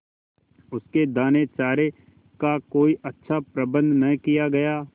उसके दानेचारे का कोई अच्छा प्रबंध न किया गया